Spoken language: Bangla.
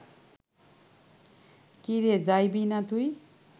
কি রে, যাইবি না তুই